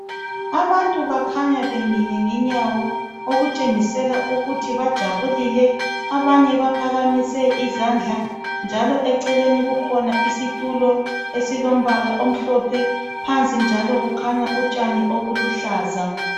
Abantu bakhanya bemile ngenyawo okutshengisela ukuthi bajabulile. Abanye baphakamise izandla njalo eceleni kukhona isitulo esilombala omhlophe. Phansi njalo kukhanya utshani obuluhlaza.